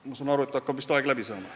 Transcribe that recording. Ma saan aru, et aeg hakkab vist läbi saama.